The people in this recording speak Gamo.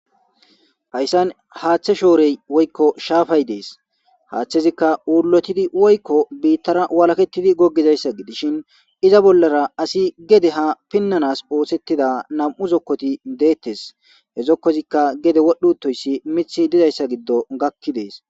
Hayssan haaththe shoorey woykko shaafay dees haaththezikka uulotidi woykko biittara walaketidi goggizayssa gidishin iza bollara asi gede ha pinnanas oosettida nam7u zokkoti deettes he zokkozikka gede wodhutoyssi mithi dizayssa giddo gakki dees.